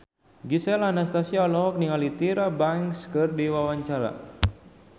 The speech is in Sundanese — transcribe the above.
Gisel Anastasia olohok ningali Tyra Banks keur diwawancara